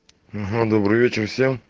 добрый вечер всем